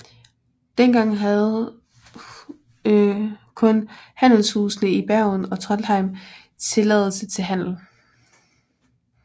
Dengang havde kun handelshusene i Bergen og Trondheim tilladelse til handel